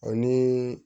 Ani